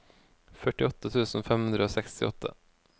førtiåtte tusen fem hundre og sekstiåtte